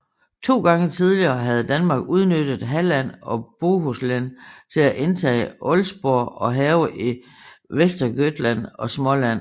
To gange tidligere havde Danmark udnyttet Halland og Bohuslän til at indtage Älvsborg og hærge i Västergötland og Småland